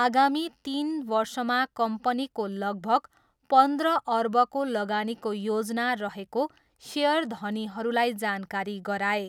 आगामी तिन वर्षमा कम्पनीको लगभग पन्ध्र अर्बको लगानीको योजना रहेको सेयरधनीहरूलाई जानकारी गराए।